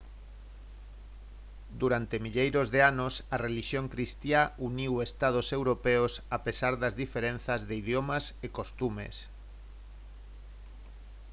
durante milleiros de anos a relixión cristiá uniu estados europeos a pesar das diferenzas de idiomas e costumes